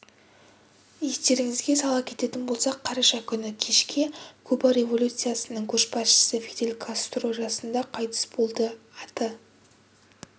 естеріңізге сала кететін болсақ қараша күні кешке куба революциясының көшбасшысы фидель кастро жасында қайтыс болды аты